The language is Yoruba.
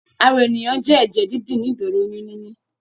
Ara ènìyàn jẹ́ ẹ̀jẹ̀-dídì ní ìbẹ̀rẹ̀ oyún níní.